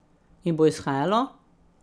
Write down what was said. In bo izhajalo.